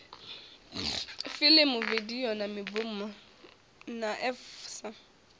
filimu vidio na mibvumo nafvsa